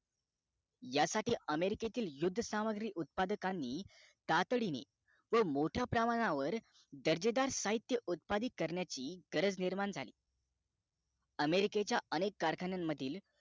यासाठी american यौद्ध सामग्री उत्पादकांनी तातडीने व मोठ्या प्रमाणावर दर्जेदार साहित्य उत्पादिक करण्याची गरज निर्माण झाली america च्या अनेक कारखान्या मधील